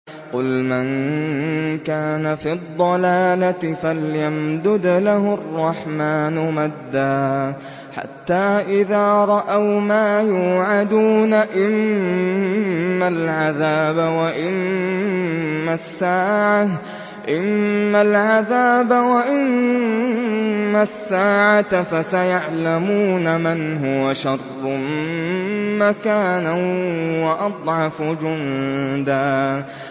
قُلْ مَن كَانَ فِي الضَّلَالَةِ فَلْيَمْدُدْ لَهُ الرَّحْمَٰنُ مَدًّا ۚ حَتَّىٰ إِذَا رَأَوْا مَا يُوعَدُونَ إِمَّا الْعَذَابَ وَإِمَّا السَّاعَةَ فَسَيَعْلَمُونَ مَنْ هُوَ شَرٌّ مَّكَانًا وَأَضْعَفُ جُندًا